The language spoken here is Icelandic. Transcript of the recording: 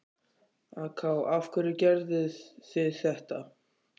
AK: Af hverju gerðuð þið þetta?